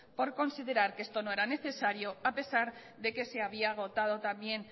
por considerar que esto no era necesario a pesar de que se había agotado también